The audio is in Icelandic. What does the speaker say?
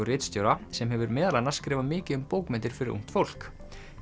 ritstjóra sem hefur meðal annars skrifað mikið um bókmenntir fyrir ungt fólk